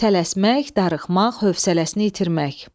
Tələsmək, darıxmaq, hövsələsini itirmək.